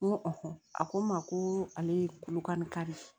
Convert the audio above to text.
N ko a ko n ma ko ale ye kolokan de ye